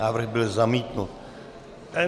Návrh byl zamítnut.